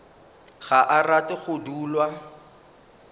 ga a rate go dulwa